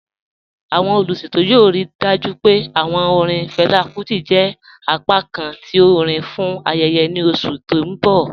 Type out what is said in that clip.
Awọn oluṣetọ yoo rii dájú pé awọn orin Fela Kuti jẹ apákàn ti orin fún ayẹyẹ ni oṣù ti n bọ̀